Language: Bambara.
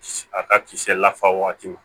A ka kisɛ la waati